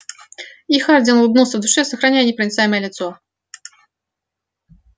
и хардин улыбнулся в душе сохраняя непроницаемое лицо